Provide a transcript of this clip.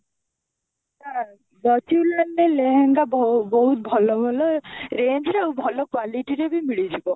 ବକ୍ସିଲାଲ ରେ ବହୁତ ଲେହେଙ୍ଗା ବ ବହୁତ ଭଲ ମିଳେ range ରେ ଆଉ ଭଲ quality ରେ ବି ମିଳିଯିବ